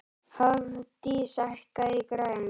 Hofdís, hækkaðu í græjunum.